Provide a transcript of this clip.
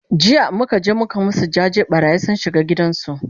jiya muka je muka masu jaje, ɓarayi sun shiga gidan su